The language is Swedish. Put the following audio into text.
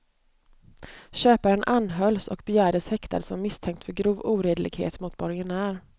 Köparen anhölls och begärdes häktad som misstänkt för grov oredlighet mot borgenär.